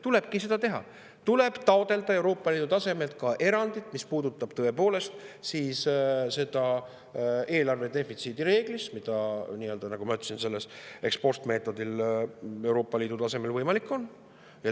Tulebki seda teha, tuleb taotleda Euroopa Liidu tasemel erandit, mis puudutab tõepoolest seda eelarvedefitsiidi reeglit, mis, nagu ma ütlesin, ex-post-meetodil Euroopa Liidu tasemel võimalik on.